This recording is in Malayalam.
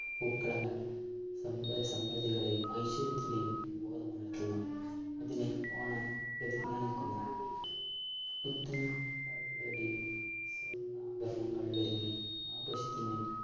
പൂക്കളങ്ങൾ സമ്പൽ സമൃദ്ധികളെയും ഐശ്വര്യത്തിന്റെയും ബോധം ഉണർത്തുന്നു. അതിനെ ഓണം ഒരുങ്ങി നിൽക്കുന്നു പുത്തൻ പാട്ടുകളുടെയും സ്വർണാഭരണങ്ങളിലൊരുങ്ങി ആകർഷിക്കുന്നു